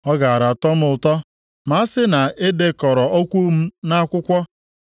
“Ọ gaara atọ m ụtọ ma a sị na e dekọrọ okwu m nʼakwụkwọ,